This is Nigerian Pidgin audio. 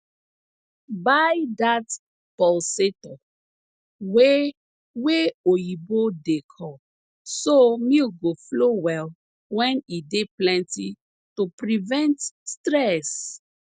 buy dat pulsator wey wey oyibo dey call so milk go flow well wen e dey plenty to prevent stress